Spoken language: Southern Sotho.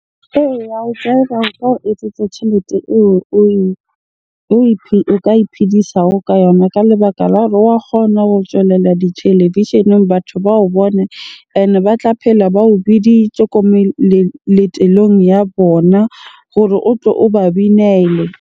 Eya, ho jive-a ho ka o etsetsa tjhelete eo o ka iphedisago ka yona. Ka lebaka la wa kgona ho tswelela ditelevisheneng batho ba o bone. Ene ba tla phela ba o biditje ko ya bona gore o tlo o ba binele.